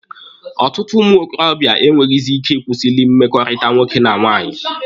Ọtụtụ ụmụ ntorobịa enweghịzị ike ịkwụsịlị mmekọrịta nwoke na nwaanyị.